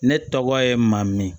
Ne tɔgɔ ye maamu